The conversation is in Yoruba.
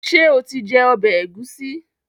ṣe o tí jé ọbẹ Egusi?